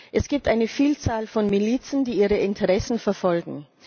Es gibt eine Vielzahl von Milizen, die ihre Interessen verfolgen.